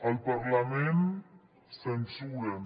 al parlament censuren